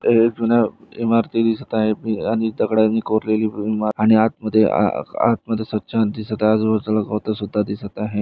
हे जुन इमारती दिसत आहे आणि दगडानी कोरलेली आतमध्ये स्वछ दिसत आहे आजूबाजूला गवत दिसत आहे.